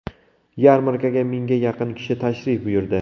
Yarmarkaga mingga yaqin kishi tashrif buyurdi.